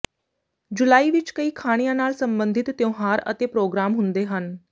ਜੁਲਾਈ ਵਿਚ ਕਈ ਖਾਣਿਆਂ ਨਾਲ ਸੰਬੰਧਤ ਤਿਉਹਾਰ ਅਤੇ ਪ੍ਰੋਗਰਾਮ ਹੁੰਦੇ ਹਨ